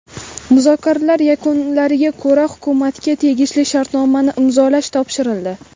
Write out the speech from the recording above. Muzokaralar yakunlariga ko‘ra hukumatga tegishli shartnomani imzolash topshirildi.